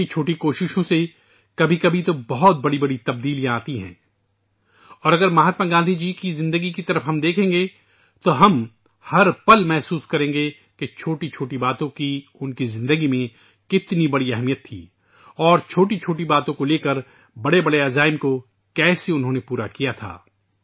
چھوٹی چھوٹی کوششیں بعض اوقات بڑی بڑی تبدیلیاں لاتی ہیں اور اگر مہاتما گاندھی کی زندگی پر ہم نظر ڈالیں تو ہم ہر لمحہ محسوس کریں گے کہ چھوٹی چھوٹی باتوں کی ان کی زندگی میں کتنی اہمیت تھی اور چھوٹی چھوٹی باتوں کے لیے بڑے بڑے عزائم کو کیسے انہوں نے سچ کر دکھایا تھا